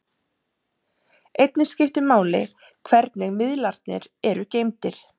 einnig skiptir máli hvernig miðlarnir eru geymdir